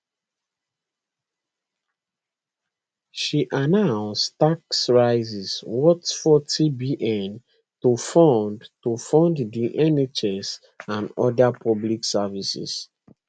she announce tax rises worth 40bn to fund to fund di nhs and oda public services